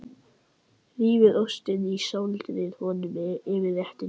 Rífið ostinn og sáldrið honum yfir réttinn.